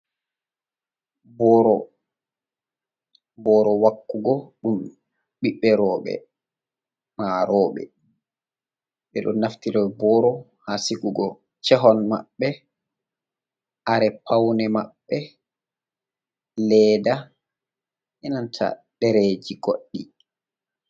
Boro, boro wakugo ɗum ɓiɓbe roɓɓe ma roɓɓe, ɓe ɗo naftira boro ha sigugo chehon maɓɓe, kare paune maɓɓe, leda, enanta ɗereji goɗɗi.